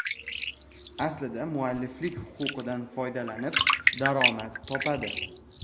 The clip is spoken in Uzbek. Aslida, mualliflik huquqidan foydalanib daromad topadi.